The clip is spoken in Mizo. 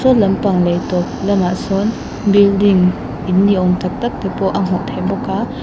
lampang leh tawp lamah sawn building în nimawn tak tak te pawh a hmuh theih bawk a--